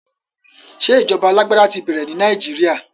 Ṣé ìjọba alágbádá ti bẹ̀rẹ̀ ní Nàìjíríà?